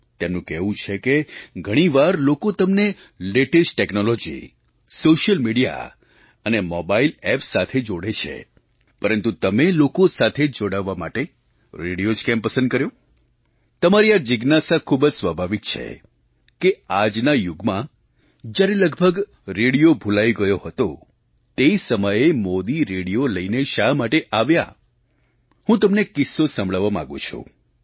તેમનું કહેવું છે કે ઘણી વાર લોકો તમને લેટેસ્ટ ટૅક્નૉલૉજી સૉશિયલ મિડિયા અને મોબાઇલ ઍપ સાથે જોડે છે પરંતુ તમે લોકો સાથે જોડાવા માટે રેડિયો જ કેમ પસંદ કર્યો તમારી આ જિજ્ઞાસા ખૂબ જ સ્વાભાવિક છે કે આજના યુગમાં જ્યારે લગભગ રેડિયો ભૂલાઈ ગયો હતો તે સમયે મોદી રેડિયો લઈને શા માટે આવ્યા હું તમને એક કિસ્સો સંભળાવવા માગું છું